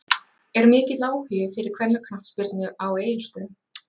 Er mikill áhugi fyrir kvennaknattspyrnu á Egilsstöðum?